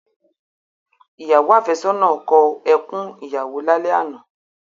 Ìyàwó áfẹ́sọ́nà náà kọ ẹkún ìyàwó lálẹ́ àná.